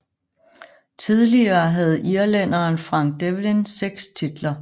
Tidligere havde irlænderen Frank Devlin seks titler